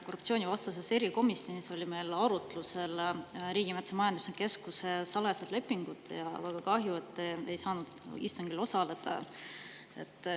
Korruptsioonivastases erikomisjonis olid meil arutlusel Riigimetsa Majandamise Keskuse salajased lepingud ja väga kahju, et te ei saanud istungil osaleda.